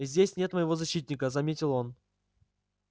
здесь нет моего защитника заметил он